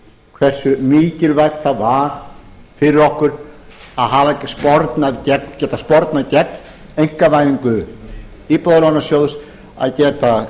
hversu mikilvægt það var fyrir okkur að hafa getað spornað gegn einkavæðingu íbúðalánasjóðs að geta